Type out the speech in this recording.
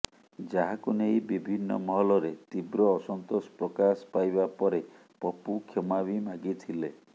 ଯାହାକୁ ନେଇ ବିଭିନ୍ନ ମହଲରେ ତୀବ୍ର ଅସନ୍ତୋଷ ପ୍ରକାଶ ପାଇବା ପରେ ପପୁ କ୍ଷମା ବି ମାଗିଥିଲେ